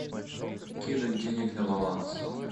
кинуть денег на баланс